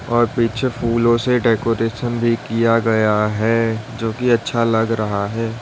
और पीछे फूलों से डेकोरेशन भी किया गया है जो कि अच्छा लग रहा है।